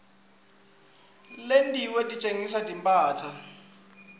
letinye titsengisa timphahla